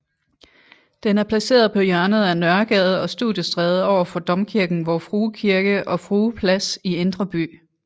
Den er placeret på hjørnet af Nørregade og Studiestræde overfor domkirken Vor Frue Kirke og Frue Plads i Indre By